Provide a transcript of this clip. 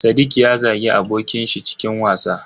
Sadiq ya zagi abokin shi cikin wasa.